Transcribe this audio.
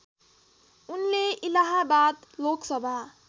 उनले इलाहाबाद लोकसभा